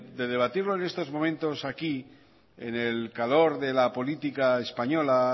de debatirlo en estos momentos aquí en el calor de la política española